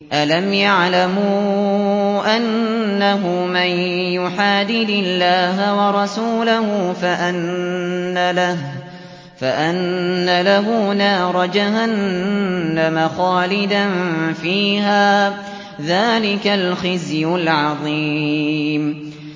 أَلَمْ يَعْلَمُوا أَنَّهُ مَن يُحَادِدِ اللَّهَ وَرَسُولَهُ فَأَنَّ لَهُ نَارَ جَهَنَّمَ خَالِدًا فِيهَا ۚ ذَٰلِكَ الْخِزْيُ الْعَظِيمُ